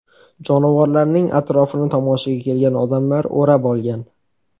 Jonivorlarning atrofini tomoshaga kelgan odamlar o‘rab olgan.